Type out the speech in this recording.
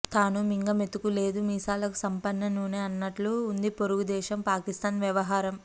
తాను మింగ మెతుకు లేదు మీసాలకు సంపెంగ నూనె అన్నట్లు ఉంది పొరుగుదేశం పాకిస్తాన్ వ్యవహారం